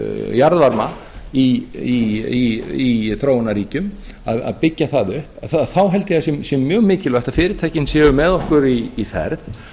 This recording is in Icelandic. jarðvarma í þróunarríkjum að byggja það upp þá held ég að það sé mjög mikilvægt að fyrirtæki séu með okkur í ferð